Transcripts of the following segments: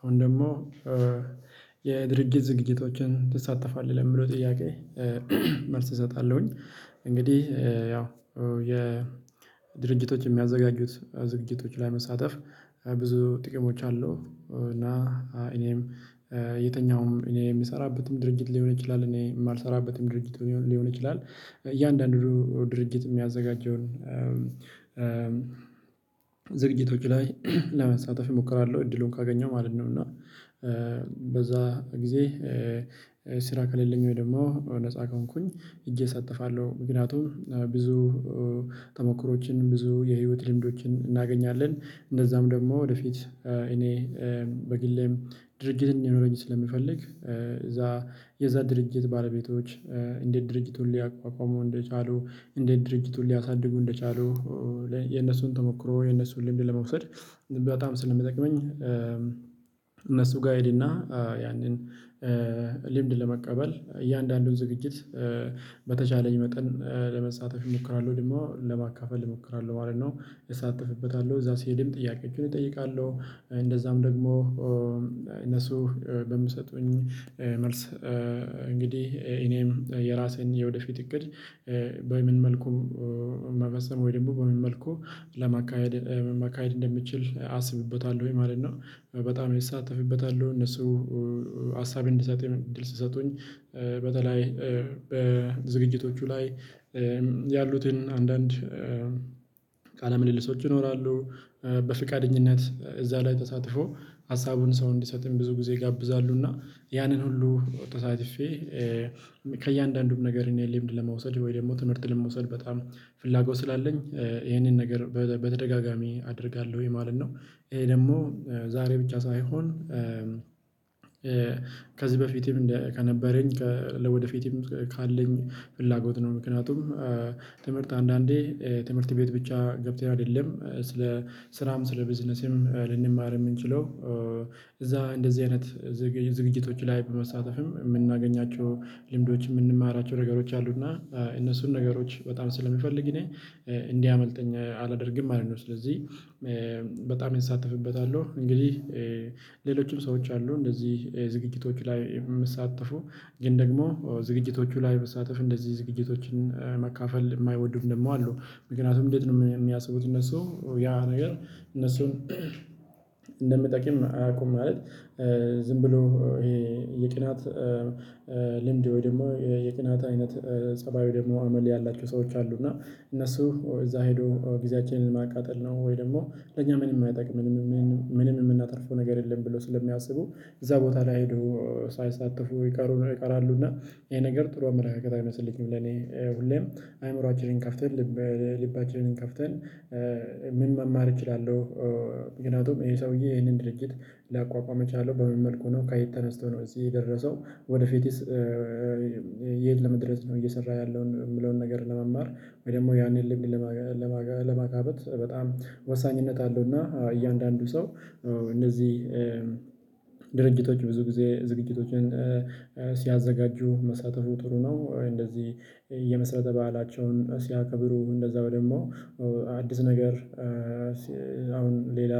አሁን ደግሞ የድርጊት ዝግጅቶችን ትሳተፋለህ ለምለው ጥያቄ? መልስ እሰጣለሁኝ። እንግዲህ ያው የድርጅቶች የሚያዘጋጁት ዝግጅቶች ላይ መሳተፍ ብዙ ጥቅሞች አሉ። እና እኔም የተኛውም እኔ የምሰራበትም ድርጊት ሊሆን ይችላል እኔ የማልሰራበትም ድርጅት ሊሆን ይችላል። እያንዳንዱ ድርጅት የሚያዘጋጀውን ዝግጅቶቹ ላይ ለመሳተፍ እሞክራለሁ እድሉን ካገኘው ማለት ነው። እና በዛ ጊዜ ስራ ከሌለኝ ወይ ደግሞ ነፃ ከሆንኩኝ ሂጄ እሳተፋለሁ። ምክንያቱም ብዙ ተሞክሮዎችን ብዙ የህይወት ልምዶችን እናገኛለን። እንደዛም ደግሞ ወደፊት እኔ በግሌም ድርጅት እንዲኖረኝ ስለምፈልግ እዛ የዛ ድርጅት ባለቤቶች እንዴት ድርጅቱን ሊያቋቋመሙ እንደቻሉ እንዴት ድርጅቱን ሊያሳድጉ እንደቻሉ የነሱን ተሞክሮ የነሱን ልምድ ለመውሰድ በጣም ስለሚጠቅመኝ። እነሱ ጋ እሄድና ያንን ልምድ ለመቀበል እያንዳንዱን ዝግጅት በተቻለኝ መጠን ለመሳተፍ እሞክራለሁ ደግሞ ለማካፈል እሞክራለሁ ማለት ነው። እሳተፍበታለሁ እዛ ሲሄድም ጥያቄዎችን እጠይቃለሁ። እንደዛም ደግሞ እነሱ በሚሰጡኝ መልስ እንግዲህ እኔም የራሴን የወደፊት እቅድ በምን መልኩ መበሰም ወይ ደም በምን መልኩ ለማካሄድ ማካሄድ እንደምችል አስብበታለውኝ ማለት ነው። በጣም እሳተፍበታለሁ እነሱ ሀሳብ እንድሰጥም እድል ስሰጡኝ በተለይ በዝግጅቶቹ ላይ ያሉትን አንዳንድ ቃለ ምልልሶች ይኖራሉ። በፍቃደኝነት እዛ ላይ ተሳትፎ ሀሳቡን ሰው እንዲሰጥም ብዙ ጊዜ ይጋብዛሉ። እና ያንን ሁሉ ተሳትፌ ከእያንዳንዱም ነገር እኔ ልምድ ለመውሰድ ወይ ደግሞ ትምህርት ለመውሰድ በጣም ፍላጎት ስላለኝ ይሄንን ነገር በተ በተደጋጋሚ አደርጋለሁኝ ማለት ነው። ይሄ ደግሞ ዛሬ ብቻ ሳይሆን ከዚህ በፊትም ለ ከነበረኝ ከ ለወደፊትም ካለኝ ፍላጎት ነው። ምክንያቱም ትምህርት አንዳንዴ ትምህርት ቤት ብቻ ገብተህ አይደለም ስለ ስራም ስለ ቢዝነስም ልንማር የምንችለው እዛ እንደዚህ አይነት ዝግጅቶች ላይ በመሳተፍም የምናገኛቸው ልምዶች የምንማራቸው ነገሮች አሉ። እና እነሱን ነገሮች በጣም ስለሚፈልግ እኔ እንዲያመልጠኝ አላደርግም ማለት ነው። ስለዚህ በጣም እንሳተፍበታለሁ። እንግዲህ ሌሎችም ሰዎች አሉ እንደዚህ ዝግጅቶች ላይ የምሳተፉ ግን ደግሞ ዝግጅቶቹ ላይ በመሳተፍ እንደዚህ ዝግጅቶችን መካፈል የማይወድም ደግሞ አሉ ምክንያቱም እንዴት ነው የሚያስቡት እነሱ ያ ነገር እነሱን እንደምጠቂም አያውቁም። ማለት ዝም ብሎ ይሄ የቅናት ልምድ ወይ ደግሞ የቅናት አይነት ፀባዩ ደግሞ አመል ያላቸው ሰዎች አሉ። እና እነሱ እዛ ሄዶ ጊዜያችንን ማቃጠል ነው ወይ ደግሞ ለኛ ምንም አይጠቅመንም ምንም የምናተርፈው ነገር የለም። ብለው ስለሚያስቡ እዛ ቦታ ላይ ሄዶ ሳይሳተፉ ይቀሩ ይቀራሉና ይሄ ነገር ጥሩ አመለካከት አይመስለኝም። ለኔ ሁሌም አይምሮአችንን ከፍተን ልብ ልባችንን ከፍተን ምን መማር እችላለሁ? ምክንያቱም ይሄ ሰውዬ ይሄንን ድርጅት ሊያቋቋም የቻለው በምን መልኩ ነው ከየት ተነስቶ ነው እዚህ የደረሰው። ወደፊትስ የት ለመድረስ ነው እየሰራ ያለው? የምለውን ነገር ለመማር ወይ ደግሞ ያንን ልምድ ለማጋ ለማገበ ለማካበት በጣም ወሳኝነት አለው። እና እያንዳንዱ ሰው እነዚህ ድርጅቶች ብዙ ጊዜ ዝግጅቶችን ሲያዘጋጁ መሳተፉ ጥሩ ነው። እንደዚህ የመሰረተ በዓላቸውን ሲያከብሩ እንደዛው ደሞ አዲስ ነገር አሁን ሌላ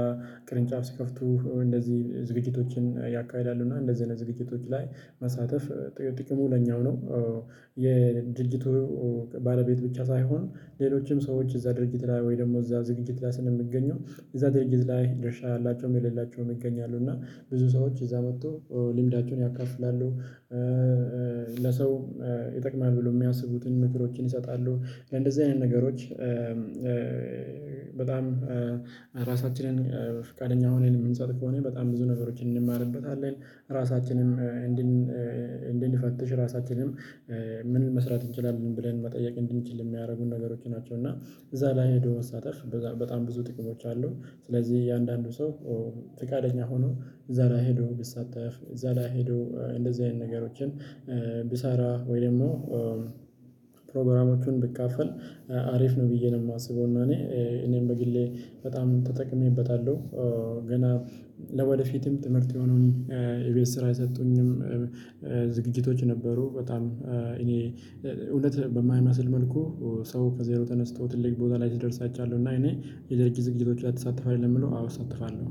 ቅርንጫፍ ሲከፍቱ እንደዚህ ዝግጅቶችን ያካሂዳሉ እና እንደዚህ አይነት ዝግጅቶች ላይ መሳተፍ ጥቅ ጥቅሙ ለኛው ነው። የድርጅቱ ባለቤት ብቻ ሳይሆን ሌሎችም ሰዎች እዛ ድርጅት ላይ ወይ ደግሞ እዛ ዝግጅት ላይ ስለሚገኙ እዛ ድርጅት ላይ ደርሻ ያላቸውም የሌላቸውም ይገኛሉ እና ብዙ ሰዎች እዛ መጠው ልምዳቸውን ያካፍላሉ። ለሰው ይጠቅማል ብሎ የሚያስቡትን ምክሮችን ይሰጣሉ። ለእንደዚህ አይነት ነገሮች በጣም ራሳችንን ፍቃደኛ ሆነን የምንሰጥ ከሆነ በጣም ብዙ ነገሮችን እንማርበታለን። ራሳችንም እንድንፈትሽ ራሳችንን ምን መስራት እንችላለን ብለን መጠየቅ እንድንችል የሚያደርጉን ነገሮች ናቸው። እና እዛ ላይ ሄዶ መሳተፍ በጣም በጣም ብዙ ጥቅሞች አሉ። ስለዚህ እያንዳንዱ ሰው ፍቃደኛ ሆኖ እዛ ላይ ሄዶ ብትሳተፍ እዛ ላይ ሄዶ እንደዚህ አይነት ነገሮችን ቢሳራ ወይ ደግሞ ፕሮግራሞቹን ብካፈል አሪፍ ነው። ብዬ ነው የማስበው። እና እኔ እኔም በግሌ በጣም ተጠቅሜበታለሁ። ገና ለወደፊትም ትምህርት የሆነውን የቤት ስራ የሰጡኝም ዝግጅቶች ነበሩ። በጣም እኔ እውነት በማይመስል መልኩ ሰው ከዜሮ ተነስተው ትልቅ ቦታ ላይ ስደርስ አይቻለው። እና እኔ ሌላ ጊዜ ዝግጅቶች ትሳተፋለህ ለሚለው? አዎ እሳተፋለሁ